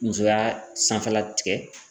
Musoya sanfɛla tigɛ.